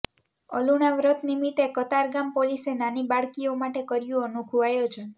અલુણા વ્રત નિમિતે કતારગામ પોલીસે નાની બાળકીઓ માટે કર્યું અનોખું આયોજન